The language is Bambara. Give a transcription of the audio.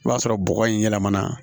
I b'a sɔrɔ bɔgɔ in yɛlɛmana